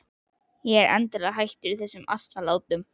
Ég er endanlega hættur þessum asnalátum.